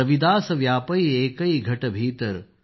रविदास व्यापै एकै घट भीतर